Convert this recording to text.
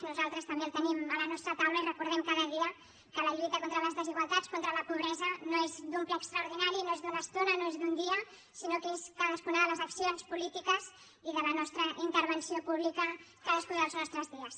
nosaltres també el tenim a la nostra taula i recordem cada dia que la lluita contra les desigualtats contra la pobresa no és d’un ple extraordinari no és d’una estona no és d’un dia sinó que és cadascuna de les accions polítiques i de la nostra intervenció pública cadascun dels nostres dies